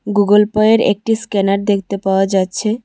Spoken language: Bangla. গুগল পয়ের একটি স্ক্যানার দেখতে পাওয়া যাচ্ছে।